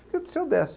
Filha do seu Décio